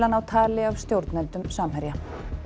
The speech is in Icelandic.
að ná tali af stjórnendum Samherja